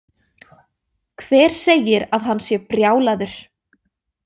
Hver segir að hann sé brjálaður?